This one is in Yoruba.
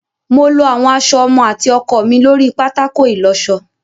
Mo lọ àwọn aṣọ ọmọ àti ọkọ mi lórí pátákó ìlọṣọ.